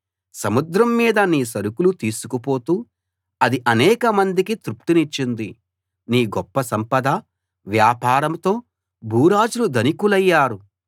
సముద్రం మీద నీ సరుకులు తీసుకు పోతూ అది అనేకమందికి తృప్తినిచ్చింది నీ గొప్ప సంపద వ్యాపారంతో భూరాజులు ధనికులయ్యారు